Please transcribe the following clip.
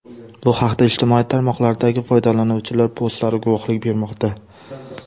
Bu haqda ijtimoiy tarmoqlardagi foydalanuvchilar postlari guvohlik bermoqda.